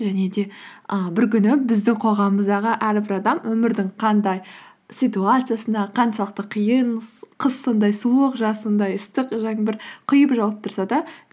және де і бір күні біздің қоғамымыздағы әрбір адам өмірдің қандай ситуациясындағы қаншалықты қиын қыс сондай суық жаз сондай ыстық жаңбыр құйып жауып тұрса да